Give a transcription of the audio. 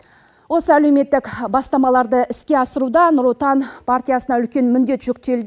осы әлеуметтік бастамаларды іске асыруда нұр отан партиясына үлкен міндет жүктел